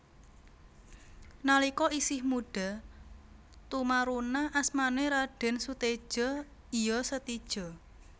Nalika isih mudha tumaruna asmané Radèn Suteja iya Setija